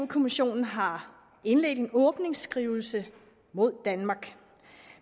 kommissionen har indledt en åbningsskrivelse mod danmark